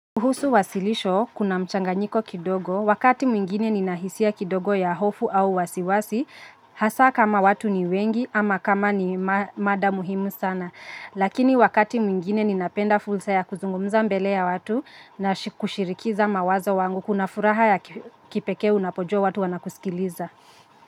Kuhusu wasilisho, kuna mchanganyiko kidogo, wakati mwingine nina hisia kidogo ya hofu au wasiwasi, hasa kama watu ni wengi ama kama ni mada muhimu sana. Lakini wakati mwingine ninapenda fulsa ya kuzungumza mbele ya watu na kushirikiza mawazo wangu, kuna furaha ya kipekee unapojua watu wanakusikiliza.